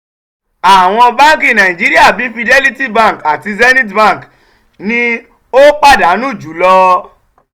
àwọn báńkì nàìjíríà bíi fidelity bank àti zenith bank ni ó pàdánù jùlọ.